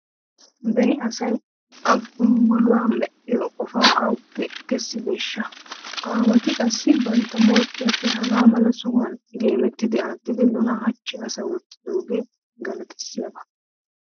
Beni asay I gonggoluwa medhdhiyo qofaa awuppe kessideeshsha? Aawati qassi bantta morkkiyappe hagaa mala sohuwan geemmidi attidi nuna hachchi asa oottidoogee galatissiyaba.